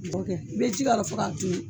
I bɛ ji k'a la ka sɔrɔ ka tobi.